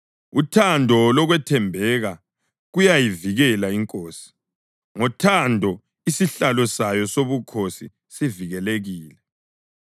Uthando lokwethembeka kuyayivikela inkosi; ngothando isihlalo sayo sobukhosi sivikelekile.